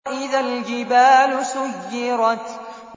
وَإِذَا الْجِبَالُ سُيِّرَتْ